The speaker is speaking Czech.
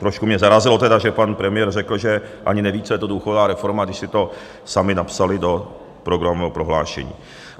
Trošku mě zarazilo tedy, že pan premiér řekl, že ani neví, co je to důchodová reforma, když si to sami napsali do programového prohlášení.